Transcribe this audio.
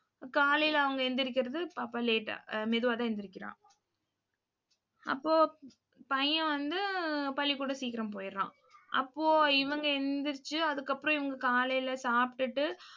காலையில அவங்க எந்திரிக்கிறது, பாப்பா late ஆ ஆஹ் மெதுவாதான் எந்திரிக்கிறா. அப்போ பையன் வந்து பள்ளிக்கூடம் சீக்கிரம் போயிடுறான். அப்போ இவங்க எந்திரிச்சு அதுக்கப்புறம் இவங்க காலையில சாப்பிட்டுட்டு